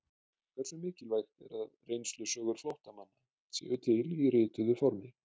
Hversu mikilvægt er að reynslusögur flóttamanna séu til í rituðu formi?